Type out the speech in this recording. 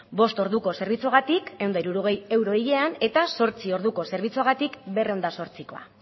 bost orduko zerbitzuagatik ehun eta hirurogei euro hilean eta zortzi orduko zerbitzuagatik berrehun eta zortzikoa